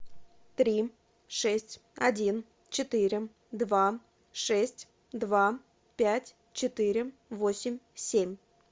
три шесть один четыре два шесть два пять четыре восемь семь